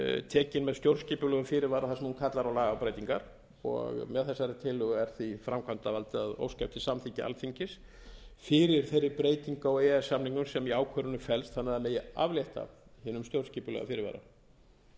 tekin með stjórnskipulegum fyrirvara þar sem hún kallar á lagabreytingar og með þessari tillögu er því framkvæmdarvaldið að óska eftir samþykki alþingis fyrir þeirri breytingu á e e s samningnum sem í ákvörðuninni felst þannig að það megi aflétta hinum stjórnskipulega fyrirvara